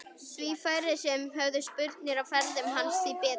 Því færri sem höfðu spurnir af ferðum hans því betra.